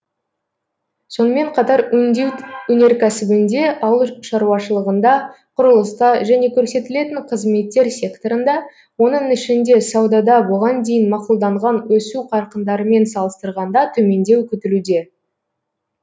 сонымен қатар өңдеу өнеркәсібінде ауыл шаруашылығында құрылыста және көрсетілетін қызметтер секторында оның ішінде саудада бұған дейін мақұлданған өсу қарқындарымен салыстырғанда төмендеу күтілуде